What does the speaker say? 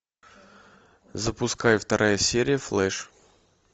запускай вторая серия флэш